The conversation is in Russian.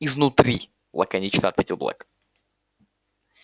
изнутри лаконично ответил блэк